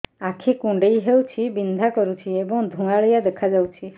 ଆଖି କୁଂଡେଇ ହେଉଛି ବିଂଧା କରୁଛି ଏବଂ ଧୁଁଆଳିଆ ଦେଖାଯାଉଛି